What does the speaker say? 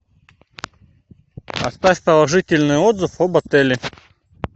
оставь положительный отзыв об отеле